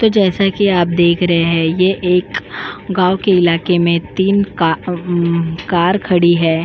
तो जैसा कि आप देख रहे हैं ये एक गांव के इलाके में तीन का अं कार खड़ी है।